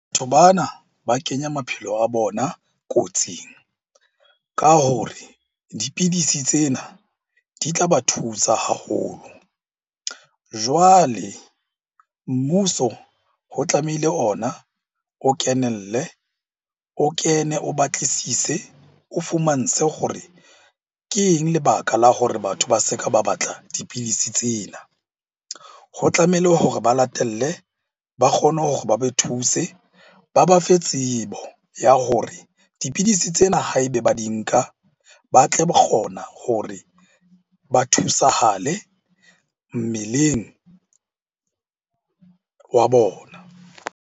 Batho bana ba kenya maphelo a bona kotsing ka hore dipidisi tsena di tla ba thusa haholo. Jwale mmuso ho tlamehile ona o kenelle, o kene, o batlisise, o fumantshwe hore ke eng lebaka la hore batho ba se ka ba batla dipidisi tsena? Ho tlamehile hore ba latelle, ba kgone hore ba be thuse, ba ba fe tsebo ya hore dipidisi tsena ha ebe ba di nka ba tle ba kgona hore ba thusahale mmeleng wa bona.